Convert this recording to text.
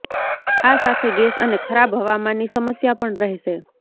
આ સાથે ગેસ અને ખરાબ હવામાનની સમસ્યા પણ રહેશે